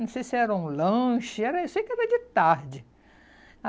Não sei se era um lanche, era, sei que era de tarde.